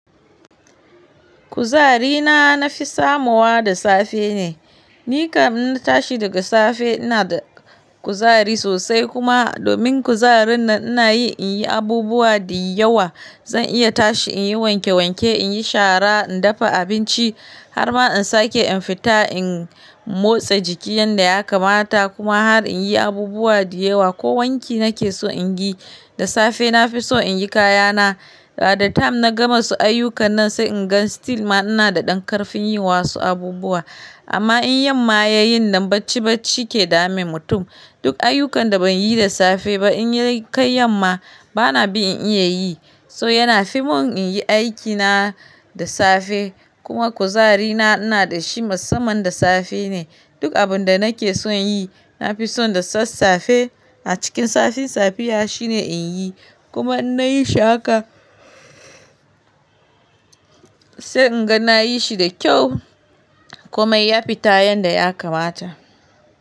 Kuzari na, na fi samuwa da safe ne. Ni kam ina tashi daga safe ina da kuzari sosai kuma domin kuzarin nan ina yi in yi abubuwa da yawa. Zan iya tashi in yi wanke wanke, in yi shara, in dafa abinci har ma in sake in fita, in motsa jiki yanda ya kamata kuma har in yi abubuwa da yawa ko wanki nake so in yi. Da safe na fi so in yi kayana. Da lokaci na gama su ayyukan nan sai in ga har yanzu ma ina da ɗan ƙarfin yi wasu abubuwa. Amma in yamma yayi nan bacci bacci ke dame mutum. Duk ayyukan da ban yi da safe ba in kai yamma bana bi in iya yi. So yana fi mun in yi aikina da safe kuma kuzari na ina da shi masamman da safe ne. Duk abun da nake son yi, na fi so da sassafe a cikin safe safiya shine in yi kuma in nayi shi haka sai in ga na yi shi da kyau kuma ya fita yanda ya kamata.